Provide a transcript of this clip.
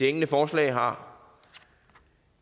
enkelte forslag har